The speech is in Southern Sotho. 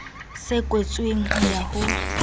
se kwetsweng ho ya ho